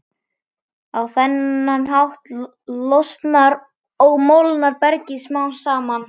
Á þennan hátt losnar og molnar bergið smám saman.